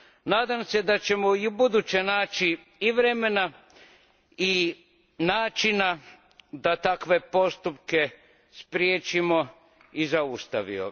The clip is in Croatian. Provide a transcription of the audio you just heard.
Nadam se da ćemo i ubuduće naći i vremena i načina da takve postupke spriječimo i zaustavimo.